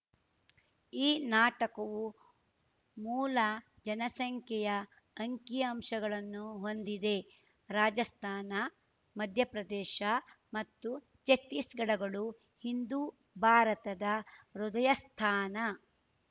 ಈ ನಾಟಕವು ಮೂಲ ಜನಸಂಖ್ಯೆಯ ಅಂಕಿಅಂಶಗಳನ್ನು ಹೊಂದಿದೆ ರಾಜಸ್ಥಾನ ಮಧ್ಯಪ್ರದೇಶ ಮತ್ತು ಛತ್ತೀಸ್‌ಗಢಗಳು ಇಂದು ಭಾರತದ ಹೃದಯಸ್ಥಾನ